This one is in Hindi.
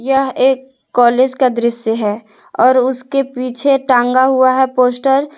यह एक कॉलेज का दृश्य है और उसके पीछे टांगा हुआ है पोस्टर ।